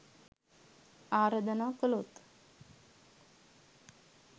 ආරාධනා කළොත්